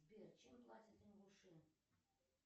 сбер чем платят ингуши